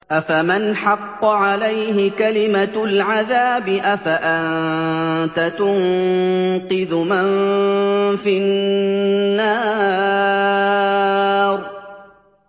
أَفَمَنْ حَقَّ عَلَيْهِ كَلِمَةُ الْعَذَابِ أَفَأَنتَ تُنقِذُ مَن فِي النَّارِ